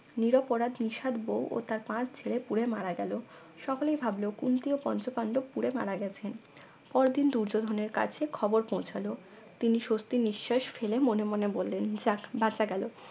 নিরপরাধ নিশাদ বউ ও তার পাঁচ ছেলে পুরে মারা গেল সকলেই ভাবল কুন্তী ও পঞ্চপান্ডব পুড়ে মারা গেছেন পরদিন দুর্যোধনের কাছে খবর পৌঁছালো তিনি স্বস্তির নিঃশ্বাস ফেলে মনে মনে বললেন যাক বাঁচা গেল